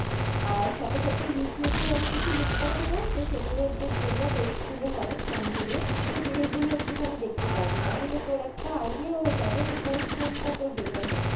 আর সাথে সাথে Youtube এও আমি কিছু link পাঠাবো যে সেগুলোর যে demo test গুলো হয় phone গুলোর সেইগুলো একটুখানি দেখতে পারবি, তাহলে তোর একটা idea হয়ে যাবে যে কোন phone টা তোর better হবে।